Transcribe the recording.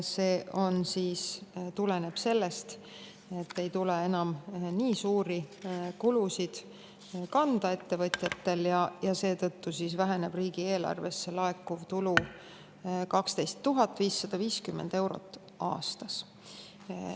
See tuleneb sellest, et ettevõtjatel ei tule enam nii suuri kulusid kanda ja seetõttu väheneb riigieelarvesse laekuv tulu 12 550 eurot aastas.